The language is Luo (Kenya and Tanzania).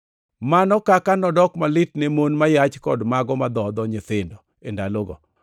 Mano kaka nodok malit ne mon ma yach kod mago madhodho nyithindo e ndalogo!